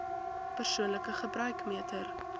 persoonlike gebruik meter